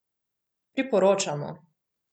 Priporočamo!